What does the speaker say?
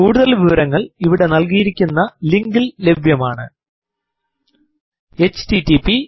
കൂടുതൽ വിവരങ്ങൾ ഇവിടെ നൽകിയിരിക്കുന്ന ലിങ്കിൽ ലഭ്യമാണ് httpspoken tutorialorgNMEICT Intro